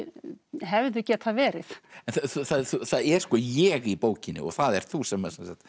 hefðu getað verið það er sko ég í bókinni og það ert þú sem